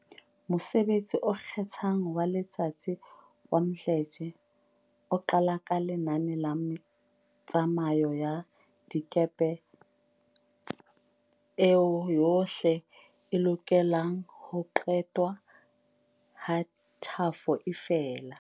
Mosebetsi o ikgethang wa letsatsi wa Mdletshe o qala ka lenane la metsamao ya dikepe eo yohle e lokelang ho qetwa ha tjhafo e fela.